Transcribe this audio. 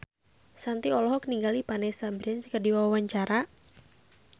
Shanti olohok ningali Vanessa Branch keur diwawancara